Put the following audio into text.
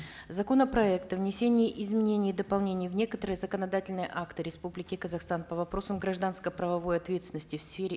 законопроект о внесении изменений и дополнений в некоторые законодательные акты республики казахстан по вопросам гражданско правовой ответственности в сфере